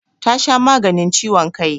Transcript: Ta sha maganin ciwon kai.